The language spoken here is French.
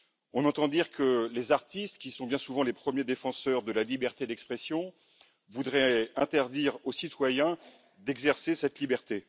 On entend dire que les artistes, qui sont bien souvent les premiers défenseurs de la liberté d'expression, voudraient interdire aux citoyens d'exercer cette liberté.